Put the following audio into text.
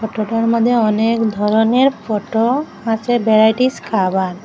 টোটোর মধ্যে অনেক ধরনের ফটো আছে ভ্যারাইটিস খাবার।